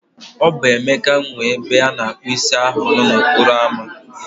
O bụ Emeka nwe ebe ana akpu isi ahu nọ n'okporo ámá